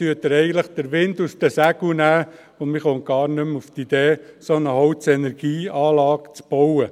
Damit nehmen Sie den Wind aus den Segeln, und man kommt gar nicht mehr auf die Idee, eine solche Holzenergieanlage zu bauen.